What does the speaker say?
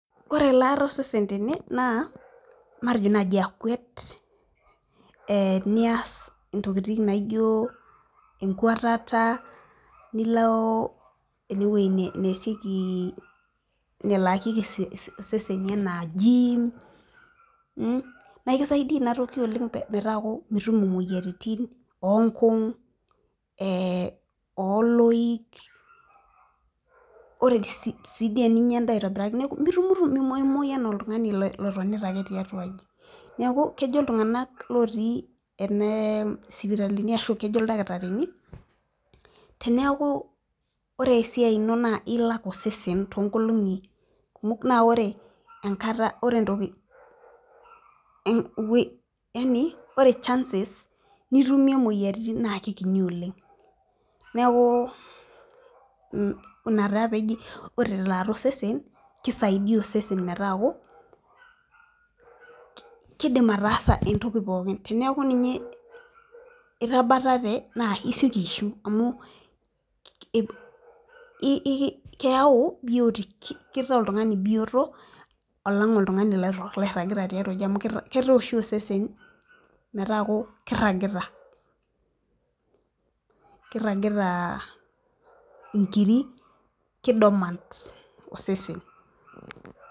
Ore ekaata osesen tene naa matejo naaji akwet, ee nias ntokitin naijo, enkwetata, nilo ene wueji neesieki nelakieki iseseni le.na aaji naa ekisaidia metaa mitum imoyiaritin. onkung' ooloik. ore sii dii eninyia edaa aitobiraki mitumitum .mimoiumoyu anaa oltungani lotonita ake, tiatua aji. neeku kejo iltunganak lotii ene sipitalini ashu kejo oldakitarinj. teneeku ore esiai ino nilak osesen too nkolong'i kumok naa ore enkata ore chances nitumie imoyiaritin. ina taa peeji tosesen kisaidia osesen metaaku, kidim ataasa entoki pookin. teneeku ninye. itabatate naa isioki aishiu. amu keyau. kitaa oltungani bioto alang' oltungani loiragita tiatua aji amu kiata oshi osesen, metaaku kiragita. inkiri.ki dormant osesen.